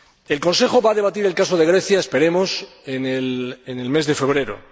El Consejo va a debatir el caso de Grecia esperemos en el mes de febrero.